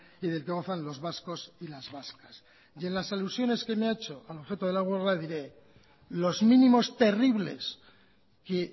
y del que gozan los vascos y las vascas en las alusiones que me ha hecho al objeto de la huelga le diré que los mínimos terribles que